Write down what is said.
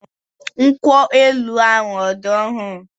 Nkwu elu# ahụ ọ̀ dị ọhụrụ?